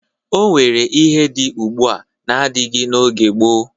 O nwere ihe dị ugbua n'adịghị n'oge gboo.